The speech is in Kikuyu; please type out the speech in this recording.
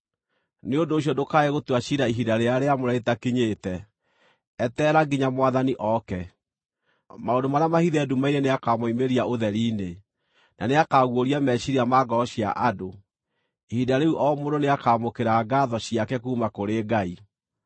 Nĩ ũndũ ũcio ndũkae gũtua ciira ihinda rĩrĩa rĩamũre rĩtakinyĩte; eterera nginya Mwathani ooke. Maũndũ marĩa mahithe nduma-inĩ nĩakamoimĩria ũtheri-inĩ, na nĩakaguũria meciiria ma ngoro cia andũ. Ihinda rĩu o mũndũ nĩakamũkĩra ngaatho ciake kuuma kũrĩ Ngai.